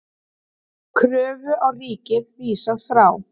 Kröfu á ríkið vísað frá